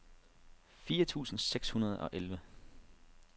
fire tusind seks hundrede og elleve